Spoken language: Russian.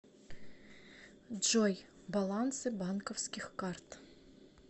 джой балансы банковских карт